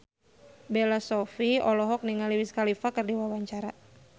Bella Shofie olohok ningali Wiz Khalifa keur diwawancara